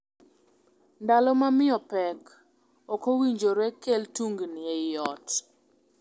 Ndalo ma miyo pek ok owinjore kel tungni ei ot.